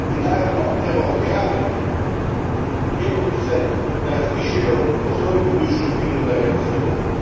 I naravno, treba ohrabriti Bjeloruse da razmišljaju o svojoj budućnosti unutar Europske unije.